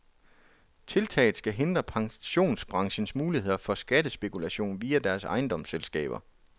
Tiltaget skal hindre pensionsbranchens muligheder for skattespekulation via deres ejendomsselskaber.